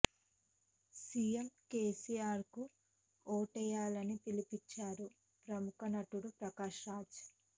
CM KCR కు ఓటేయ్యాలని పిలుపునిచ్చారు ప్రముఖ నటుడు ప్రకాశ్ రాజ్